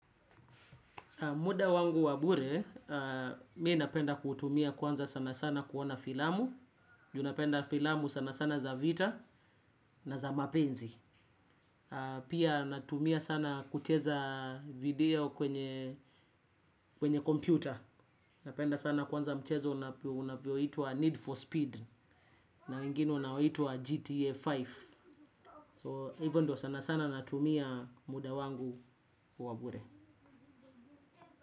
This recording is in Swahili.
Muda wangu wabure, mimi napenda kutumia kwanza sana sana kuona filamu. Ju napenda filamu sana sana za vita na za mapenzi. Pia natumia sana kucheza video kwenye computer. Napenda sana kwanza mchezo unapo unavyoitwa Need for Speed. Na ingino unaoitwa GTA tano. So hivo ndio sana sana natumia muda wangu wabure.